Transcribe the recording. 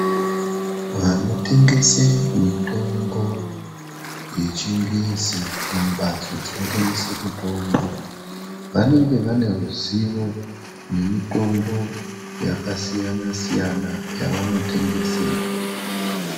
Vanotengese mitombo yechingezi mumbatso dzinotengesa mitombo vanenge vane ruzivo nemitombo yakasiyana siyana yavanotengesa.